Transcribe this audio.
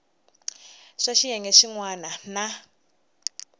swa xiyenge xin wana na